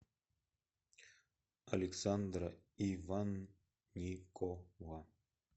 александра иванникова